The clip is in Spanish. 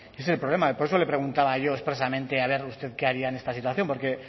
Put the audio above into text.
ese es problema y por eso le preguntaba yo expresamente que a ver usted que haría en esta situación porque